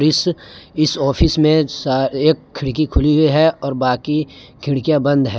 इस इस ऑफिस में सा एक खिड़की खुली है और बाकी खिड़कियां बंद है।